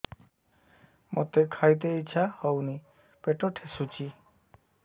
ମୋତେ ଖାଇତେ ଇଚ୍ଛା ହଉନି ପେଟ ଠେସୁଛି